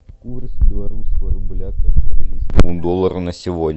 курс белорусского рубля к австралийскому доллару на сегодня